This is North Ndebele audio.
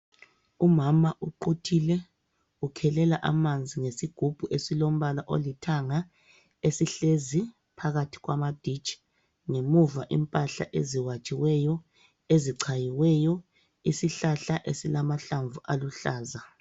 Umama uquthile. Ukhelela amanzi ngesigubhu esilombala olithanga esihlezi phakathi kwamaditshi. Ngemuva impahla eziwatshiweyo, ezichayiweyo. Isihlahla esilamahlamvu aluhlaza.